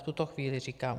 V tuto chvíli, říkám.